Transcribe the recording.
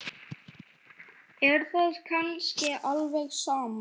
Er það kannski alveg sama?